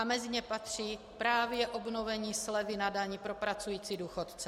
A mezi ně patří právě obnovení slevy na dani pro pracující důchodce.